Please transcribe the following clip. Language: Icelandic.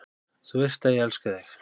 Þú veist að ég elska þig.